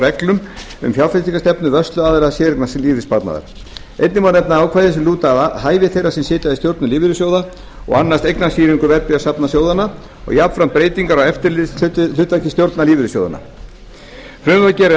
reglum um fjárfestingarstefnu vörsluaðila séreignarlífeyrissparnaðar einnig má nefna ákvæði sem lúta að hæfi þeirra sem sitja í stjórnum lífeyrissjóða eða annast eignastýringu verðbréfasafna sjóðanna og jafnframt breytingar á eftirlitshlutverki stjórna lífeyrissjóðanna frumvarpið gerir